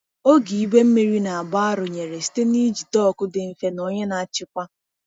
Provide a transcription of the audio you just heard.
Oge igwe mmiri na-agba arụnyere site n’iji dọkụ dị mfe na onye na-achịkwa.